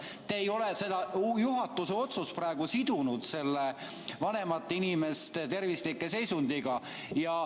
Te ei ole seda juhatuse otsust praegu sidunud selle vanemate inimeste tervisliku seisundiga.